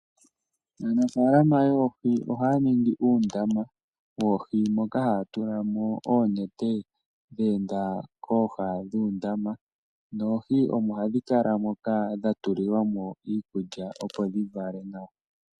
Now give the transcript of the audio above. Aanafaalama yoohi ohaya ningi uundama moka haya tulamo oonete , dheenda kooha dhuundama . Oohi omo hadhi kala moka dhatulilwamo iikulya opo dhivale nawa.